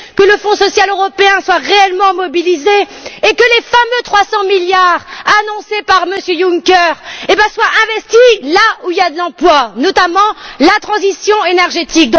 Que le Fonds social européen soit réellement mobilisé et que les fameux 300 milliards annoncés par M. Juncker soient investis là où il y a de l'emploi, notamment la transition énergétique.